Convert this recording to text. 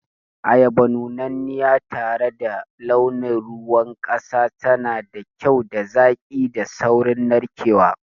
Ayaba nunanniya tare da launin ruwan kasa tana da kyau da zaƙi da saurin narkewa.